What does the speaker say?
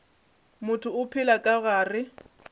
motho o phela ka gare